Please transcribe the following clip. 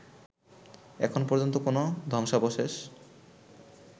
এখন পর্যন্ত কোন ধ্বংসাবশেষ